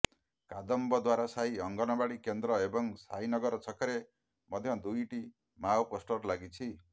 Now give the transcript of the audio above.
କଦମ୍ବଦ୍ୱାର ସାହି ଅଙ୍ଗନବାଡ଼ି କେନ୍ଦ୍ର ଏବଂ ସାଇ ନଗର ଛକରେ ମଧ୍ୟ ଦୁଇଟି ମାଓ ପୋଷ୍ଟର୍ ଲାଗିଛି